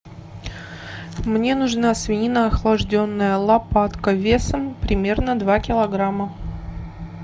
мне нужна свинина охлажденная лопатка весом примерно два килограмма